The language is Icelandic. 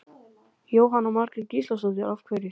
Jóhanna Margrét Gísladóttir: Af hverju?